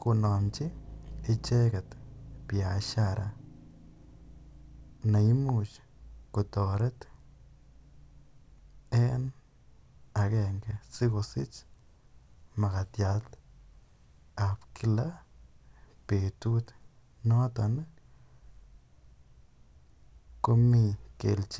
konomchi icheket biashara neimuch kotoret en akenge sikosich makatiatab kila betut noton komii kelchin.